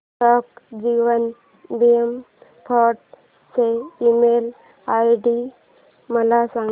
डाक जीवन बीमा फोर्ट चा ईमेल आयडी मला सांग